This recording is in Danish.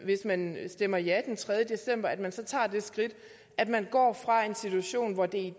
hvis man stemmer ja den tredje december at man så tager det skridt at man går fra en situation hvor det